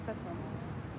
Tərpətmə bunu.